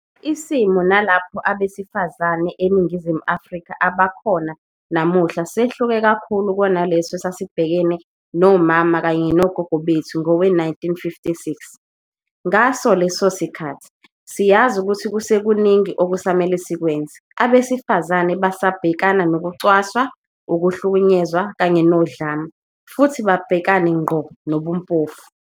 Isimo nalapho abesifazane eNi ngizimu Afrika abakhona namuhla sehluke kakhulu kunaleso esasibhekene nomama kanye nogogo bethu ngowe-1956. Ngaso leso sikhathi, siyazi ukuthi kusekuningi okusamele sikwenze. Abesifazane basabhekana nokucwaswa, ukuhlukunyezwa kanye nodlame, futhi babhekane ngqo nobumpofu.